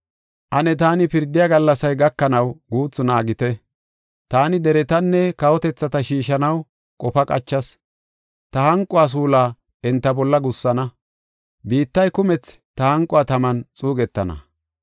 “Ane taani pirdiya gallasay gakanaw guuthu naagite. Taani deretanne kawotethata shiishanaw qofa qachas; ta hanquwa suulaa enta bolla gussana; biittay kumethi ta hanquwa taman xuugetana.